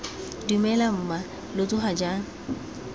dumela mma lo tsoga jang